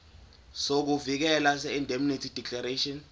sokuvikeleka seindemnity declaration